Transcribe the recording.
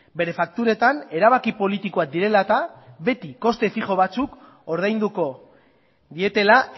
bere fakturetan erabaki politikoak direla eta beti koste fijo batzuk ordainduko dietela